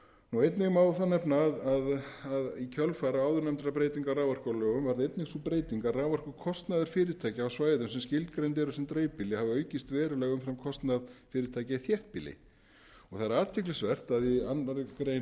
og níu einnig má nefna að í kjölfar áðurnefndrar breytingar á raforkulögum varð einnig sú breyting að raforkukostnaður fyrirtækja á svæðum sem skilgreind eru sem dreifbýli hafa aukist verulega umfram kostnað fyrirtækja í þéttbýli það er athyglisvert að í öðrum greinar